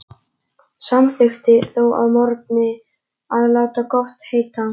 Samþykkti þó að morgni að láta gott heita.